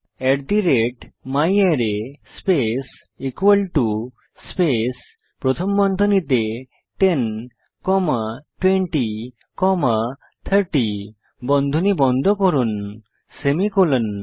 at the rate my array space space প্রথম বন্ধনীতে ten comma twenty comma thirty বন্ধনী বন্ধ করুন সেমিকোলন